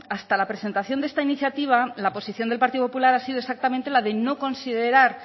hasta la presentación de esta iniciativa la posición del partido popular ha sido exactamente la de no considerar